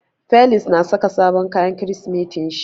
Felix na saka sabon kayan Kirsimetin shi.